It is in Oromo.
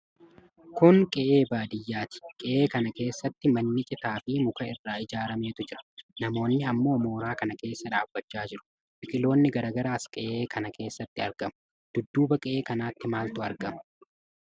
Kun qe'ee baadiyyaati. Qe'ee kana keessa manni citaa fi muka irraa ijaarametu jira. Namoonnii ammoo mooraa kana keessa dhaabachaa jiru. Biqiloonni garaa garaas qe'ee kana keessatti argamu. Dudduuba qe'ee kanaatti maaltu argama?